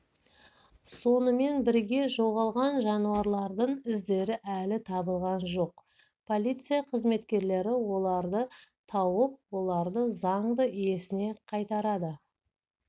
сонымен бірге жоғалған жануарлардың іздері әлі табылған жоқ полиция қызметкерлері оларды тауып оларды заңды иесіне қайтарады